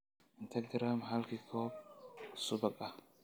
inta garaam halkii koob subag ah